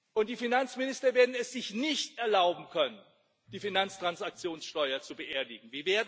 Und die Finanzminister werden es sich nicht erlauben können, die Finanztransaktionssteuer zu beerdigen.